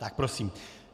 Tak prosím.